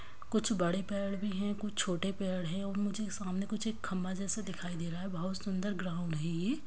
कुछ बड़े पेड़ भी है कुछ छोटे पेड़ है और मुझे सामने कुछ एक खम्बा जैसा दिखाई दे रहा है बहुत सुंदर ग्राउंड है ये।